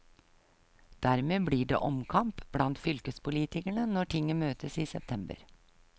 Dermed blir det omkamp blant fylkespolitikerne når tinget møtes i september.